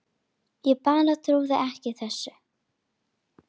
Ég bara trúði þessu ekki.